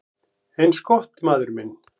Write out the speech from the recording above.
"""Eins gott, maður minn"""